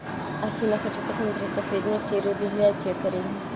афина хочу посмотреть последнюю серию библиотекарей